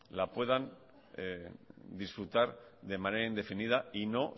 la puedan disfrutar de manera indefinida y no